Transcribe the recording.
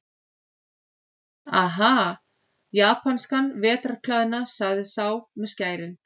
Aha, japanskan vetrarklæðnað, sagði sá með skærin.